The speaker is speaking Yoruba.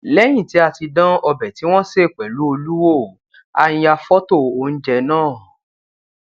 léyìn ti a ti dán ọbè tí wón sè pèlú olú wò a ya fótò oúnjẹ náà